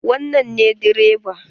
Wannan ne direba?